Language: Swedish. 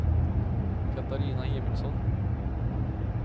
Katarina Emilsson